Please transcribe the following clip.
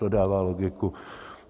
To dává logiku.